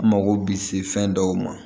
N mago bi se fɛn dɔw ma